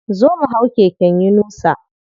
Zo mu hau keken yunusa.